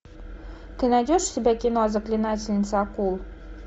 ты найдешь у себя кино заклинательница акул